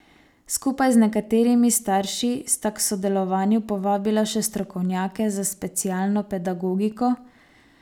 Skupaj z nekaterimi starši sta k sodelovanju povabila še strokovnjake za specialno pedagogiko.